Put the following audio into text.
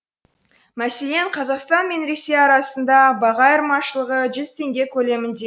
мәселен қазақстан мен ресей арасында баға айырмашылығы жүз теңге көлемінде